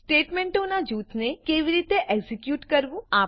સ્ટેટમેંટોનાં જૂથને કેવી રીતે એક્ઝેક્યુટ કરવું